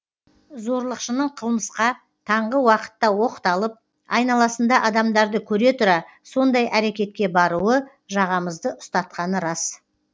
зорлықшының қылмысқа таңғы уақытта оқталып айналасында адамдарды көре тұра сондай әрекетке баруы жағамызды ұстатқаны рас